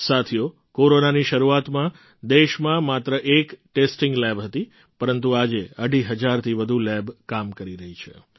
સાથીઓ કોરોનાની શરૂઆતમાં દેશમાં માત્ર એક જ ટેસ્ટિંગ લેબ હતી પરંતુ આજે અઢી હજારથી વધુ લેબ કામ કરી રહી છે